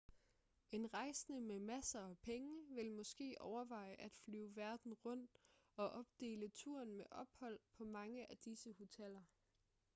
en rejsende med masser af penge vil måske overveje at flyve verden rundt og opdele turen med ophold på mange af disse hoteller